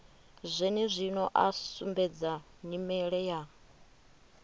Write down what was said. zwenezwino a sumbedza nyimele ya